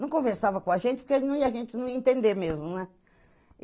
Não conversava com a gente, porque a gente não ia entender mesmo, né?